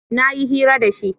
na yi hira da shi